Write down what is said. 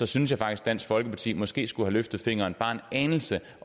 synes jeg faktisk dansk folkeparti måske skulle have løftet fingeren bare en anelse